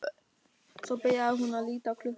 Svo byrjar hún að líta á klukkuna.